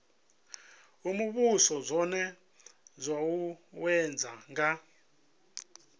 imvumvusa zwone zwo uuwedzwa nga